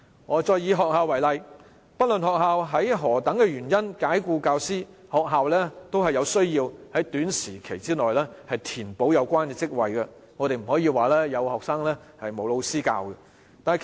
我再以學校為例，不論學校以任何原因解僱教師，都需要在短期內填補有關職位，不能出現有學生但沒老師授課的情況。